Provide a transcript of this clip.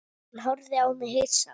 Hann horfði á mig hissa.